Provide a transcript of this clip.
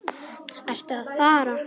Ertu að fara?